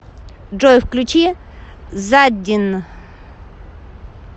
джой включи заддин